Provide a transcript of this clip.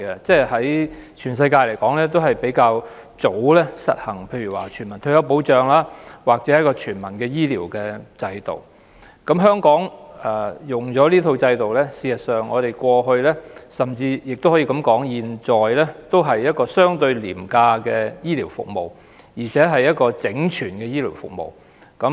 在全世界中，英國確實是一個較早便實行全民退休保障及全民醫療制度的國家，而香港在使用這套制度後，事實上，不論在過去或現在，我們也可以說是有一套相對廉價的醫療服務，而且更是一套整全的醫療服務。